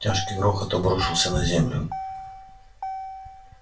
тяжкий грохот обрушился на землю